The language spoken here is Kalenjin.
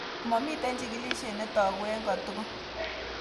Momiten chigilisiet netogu en kotugul.